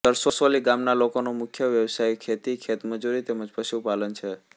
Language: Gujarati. સરસોલી ગામના લોકોનો મુખ્ય વ્યવસાય ખેતી ખેતમજૂરી તેમ જ પશુપાલન છે